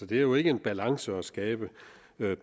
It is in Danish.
det er jo ikke en balance at skabe